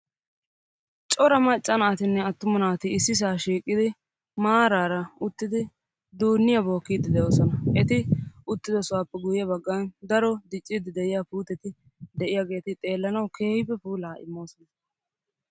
Cora maccaa naatinne attuma naati ississa shiiqqidi duuniyaa bookkide de'oosona. eti uttidi sohuwape guyye baggan dro diccide de'iyaa puutetti de'iyaageeti xeelanawukka puula immoosona.